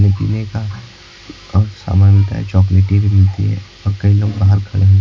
ये पीने का और सामान मिलता है चॉकलेटी भी मिलती है और कई लोग बाहर खड़े--